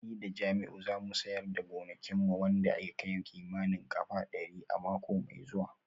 Ni da Jamiu za mu siyar da gonakin mu wanda ya kai kimanin kafa dari a mako mai zuwa